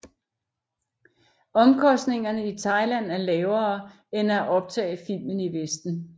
Omkostningerne i Thailand er lavere end at optage film i Vesten